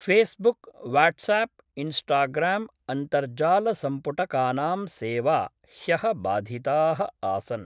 Facebook, WhatsApp Instagram अन्तर्जालसम्पुटकानां सेवा ह्यः बाधिताः आसन्।